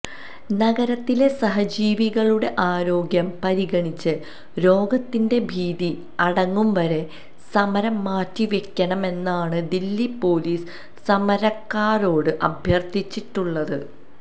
നഗരത്തിലെ സഹജീവികളുടെ ആരോഗ്യം പരിഗണിച്ച് രോഗത്തിന്റെ ഭീതി അടങ്ങും വരെ സമരം മാറ്റിവെക്കണം എന്നാണ് ദില്ലി പൊലീസ് സമരക്കാരോട് അഭ്യർത്ഥിച്ചിട്ടുളളത്